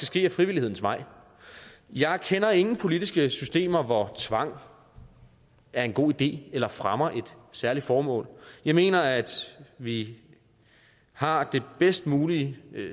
ske ad frivillighedens vej jeg kender ingen politiske systemer hvor tvang er en god idé eller fremmer et særligt formål jeg mener at vi har det bedst mulige